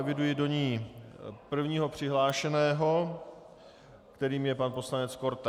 Eviduji do ní prvního přihlášeného, kterým je pan poslanec Korte.